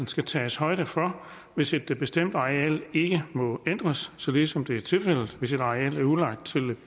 skal tages højde for hvis et bestemt areal ikke må ændres således som det er tilfældet hvis et areal er udlejet